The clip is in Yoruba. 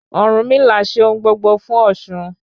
Ọ̀rúnmìlà ṣe ohun gbogbo fún osun